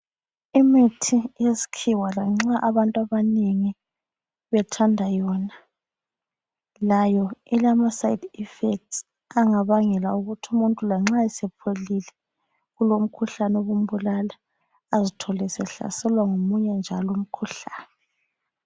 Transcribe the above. Imithi yesikhiwa lanxa abantu abanengi bethanda yona ,layo ilama side effects angabangela ukuthi umuntu lanxa esepholile kulomkhuhlane obumbulala azithole esehlaselwa ngomunye njalo umkhuhlane.